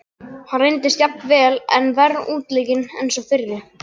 Hann reyndist jafnvel enn verr útleikinn en sá fyrri.